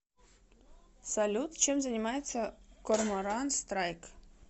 салют чем занимается корморан страйк